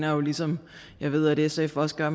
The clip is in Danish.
jo ligesom jeg ved at sf også gør